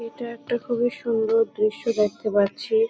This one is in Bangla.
এটা একটা খুবই সুন্দর দৃশ্য দেখতে পাচ্ছি।